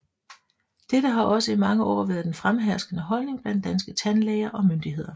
Dette har også i mange år været den fremherskende holdning blandt danske tandlæger og myndigheder